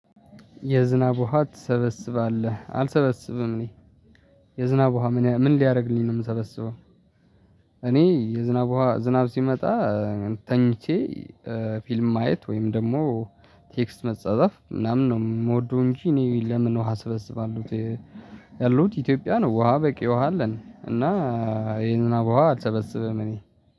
የዝናብ ውሃ ትሰበስባለህ አልሰበስብም እኔ የዝናብ ውሃ ምን ሊያደርግልኝ ነው የምሰበስበው? እኔ የዝናብ ውሃ ዝናብ ሲመጣ ተኝቼ ፊልም ማየት ወይም ደግሞ ቴክስት መጻዘፍ ምናምን ነው የምወደው። እንጂ እኔ ለምን ውሃ እስበስባለሁት? ያሉት ኢትዮጵያ ነው ውሃ በቂ ውሃ አለን። እና የዝናብ ውሃ አልሰበሰብም። እኔ